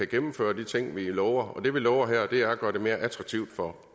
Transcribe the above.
gennemføre de ting vi lover og det vi lover her er at gøre det mere attraktivt for